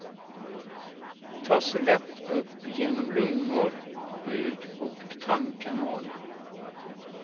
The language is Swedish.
Tas lätt upp genom lungor, hud och tarmkanal.